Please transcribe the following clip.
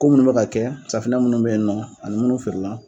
Ko munnu bɛ ka kɛ, safunɛ munnu be yen nɔ ani munnu feere la.